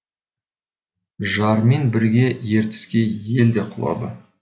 жармен бірге ертіске ел де құлады